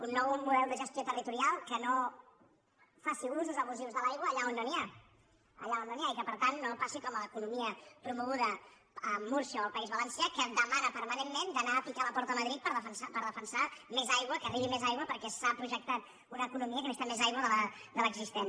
un nou model de gestió territorial que no faci usos abusius de l’aigua allà on no n’hi ha allà on no n’hi ha i que per tant no passi com a l’economia promoguda a múrcia o el país valencià que demana permanentment d’anar a picar a la porta a madrid per defensar més aigua que arribi més aigua perquè s’ha projectat una economia que necessita més aigua de l’existent